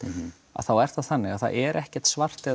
þá er það þannig að það er ekkert svart eða